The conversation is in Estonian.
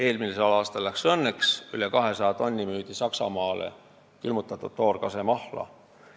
Eelmisel aastal läks õnneks: üle 200 tonni külmutatud toorkasemahla müüdi Saksamaale.